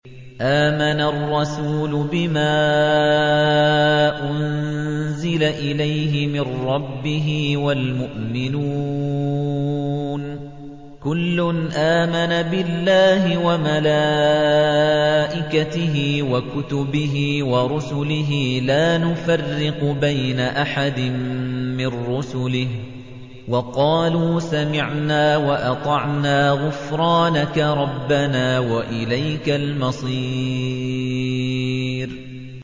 آمَنَ الرَّسُولُ بِمَا أُنزِلَ إِلَيْهِ مِن رَّبِّهِ وَالْمُؤْمِنُونَ ۚ كُلٌّ آمَنَ بِاللَّهِ وَمَلَائِكَتِهِ وَكُتُبِهِ وَرُسُلِهِ لَا نُفَرِّقُ بَيْنَ أَحَدٍ مِّن رُّسُلِهِ ۚ وَقَالُوا سَمِعْنَا وَأَطَعْنَا ۖ غُفْرَانَكَ رَبَّنَا وَإِلَيْكَ الْمَصِيرُ